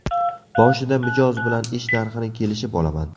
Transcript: Boshida mijoz bilan ish narxini kelishib olaman.